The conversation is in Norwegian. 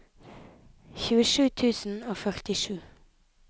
tjuesju tusen og førtisju